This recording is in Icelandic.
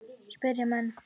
spyrja menn.